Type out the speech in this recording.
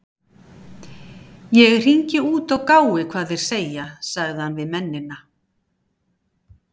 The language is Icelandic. Ég hringi út og gái hvað þeir segja- sagði hann við mennina.